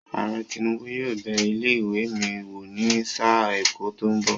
Ààrẹ Tinubu yóò bẹ ilé ìwé mi wò ní sáà ẹ̀kọ́ tó ń bọ̀.